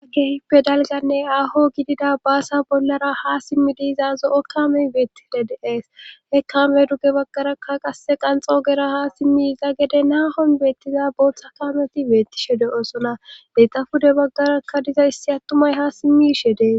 Keehippe dalganne aaho gidida baasa bollara ha simmidi yizaa zo7o kamey beettide de7ees he kame dugge baggarakka qasse qanxo ogera ha simmi yiza gede naahon beettiza booththa kaamoti beettishe de7osona heyta pude baggarakka diza issi attumay ha simmishe dees.